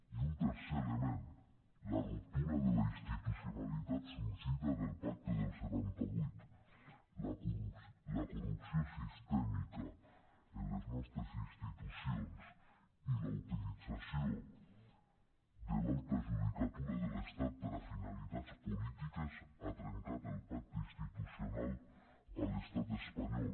i un tercer element la ruptura de la institucionalitat sorgida del pacte del setanta vuit la corrupció sistèmica en les nostres institucions i la utilització de l’alta judicatura de l’estat per a finalitats polítiques han trencat el pacte institucional a l’estat espanyol